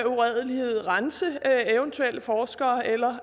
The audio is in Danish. uredelighed rense eventuelle forskere eller